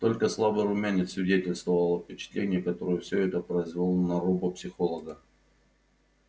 только слабый румянец свидетельствовал о впечатлении которое всё это произвело на робопсихолога